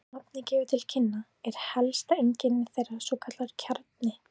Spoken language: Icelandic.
Eins og nafnið gefur til kynna er helsta einkenni þeirra svokallaður kjarni.